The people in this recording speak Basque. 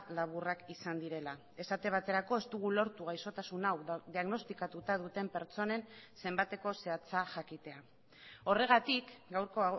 laburrak izan direla esate baterako ez dugu lortu gaixotasun hau diagnostikatuta duten pertsonen zenbateko zehatza jakitea horregatik gaurko